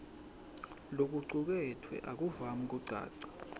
lokucuketfwe akuvami kucaca